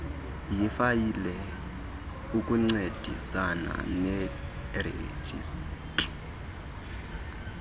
yifayile ukuncedisana nerejistri